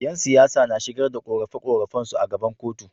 Yan siyasa na shigar da qorafe qorafe su a gaban kotu